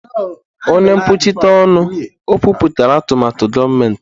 Onye nkwuchite ọnụ, o kwupụtara atụmatụ gọọmentị.